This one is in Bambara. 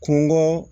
Kungo